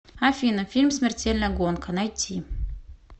афина фильм смертельная гонка найти